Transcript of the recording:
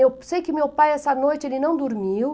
Eu sei que meu pai, essa noite, ele não dormiu.